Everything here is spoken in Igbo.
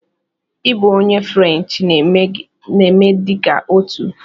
Ị bụ onye French, na-eme dị ka otu!